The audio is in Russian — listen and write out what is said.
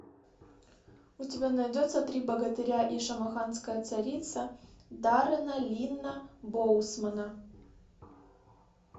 у тебя найдется три богатыря и шамаханская царица даррена линна боусмана